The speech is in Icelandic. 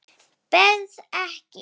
Berð ekki.